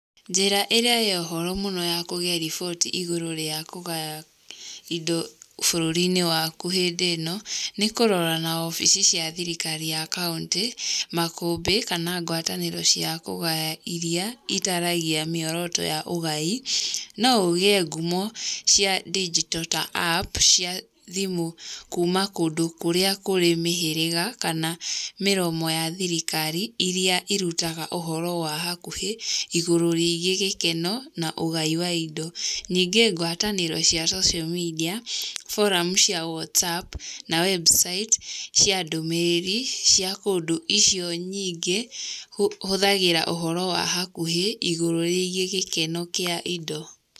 Njĩra ĩrĩa ya ũhoro mũno ya kũgĩa riboti igũrũ rĩa kũgaya indo bũrũri-inĩ waku hĩndĩ ĩno, nĩkũrora na obici cia thirikari ya kauntĩ, makũmbĩ kana ngwatanĩro ciakũgaya iria itaragĩria mĩoroto ya ũgai, noũgĩe ngumo cia ndinjito ta app cia thimũ kuma kũndũ kũrĩa kũrĩ mĩhĩrĩga kana mĩromo ya thirirkari iria irutaga ũhoro wa hakuhĩ, igũrũ rĩgiĩ gĩkeno na ũgai wa indo. Ningĩ ngwatanĩro cia social media, forum cia whatsApp na website cia ndũmĩrĩri, cia kũndũ icio nyingĩ, hũthagĩra ũhoro wa hakuhĩ, igũrũ rĩgiĩ gĩkeno kĩa indo.